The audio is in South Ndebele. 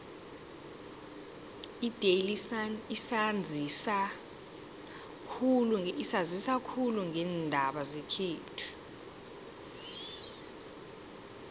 idaily sun isanzisa khulu ngeendaba zekhethu